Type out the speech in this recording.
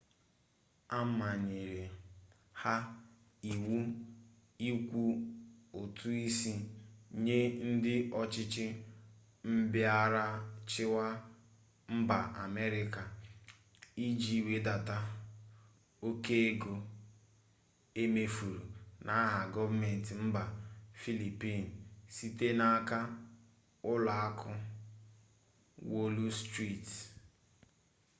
a manyere ha iwu ịkwụ ụtụisi nye ndị ọchịchị mbịarachịwa mba amerịka iji wedata oke ego e mefuru n'aha gọọmenti mba filipin site n'aka ụlọakụ wọlụ striti